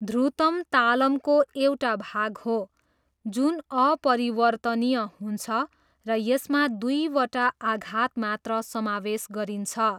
ध्रुतम तालमको एउटा भाग हो जुन अपरिवर्तनीय हुन्छ र यसमा दुईवटा आघात मात्र समावेश गरिन्छ।